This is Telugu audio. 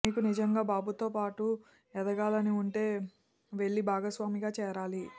మీకు నిజంగా బాబుతో బాటు ఎదగాలని వుంటే వెళ్లి భాగస్వామిగా చేరాలి